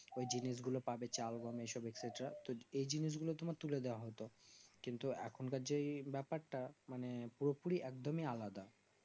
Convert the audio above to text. ওই জিনিস গুলো পাবে চাল বা তো এই জিনিস গুলো তোমার তুলে দেওয়া হতো কিন্তু এখনকার যেই ব্যাপার তা নাম পুরোপরি একদিমই আলাদা